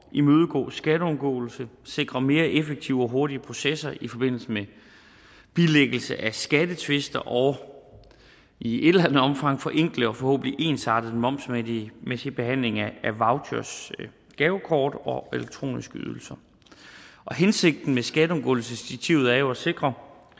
imødegå skatteundgåelse sikre mere effektive og hurtigere processer i forbindelse med bilæggelse af skattetvister og i et eller andet omfang forenkle og forhåbentlig ensarte momsmæssig behandling af vouchers gavekort og elektroniske ydelser hensigten med skatteundgåelsesdirektivet er jo at sikre